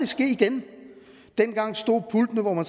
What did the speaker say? ske igen dengang stod pultene hvor man